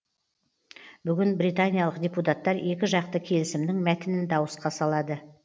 бүгін британиялық депутаттар екі жақты келісімнің мәтінін дауысқа салады